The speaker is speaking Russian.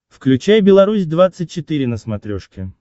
включай беларусь двадцать четыре на смотрешке